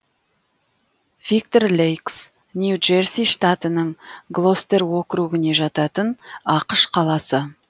виктор лэйкс нью джерси штатының глостер округіне жататын ақш қаласы